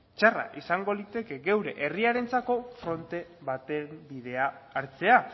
txarra izango liteke geure herrirentzako fronte baten bidea hartzea